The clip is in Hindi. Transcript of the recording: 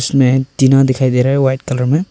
इसमें टीना दिखाई दे रहा है वाइट कलर में।